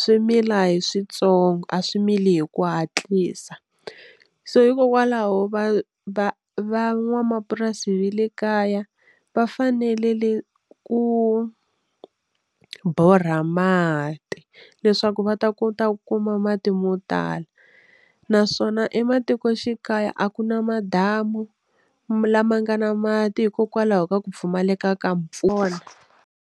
swimila hi switsongo a swi mili hi ku hatlisa so hikokwalaho va va van'wamapurasi le kaya va fanelele ku borha mati leswaku va ta kota ku kuma mati mo tala naswona ematikoxikaya a ku na madamu lama nga na mati hikokwalaho ka ku pfumaleka ka mpfula.